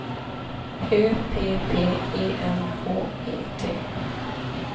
Ö P P E N H E T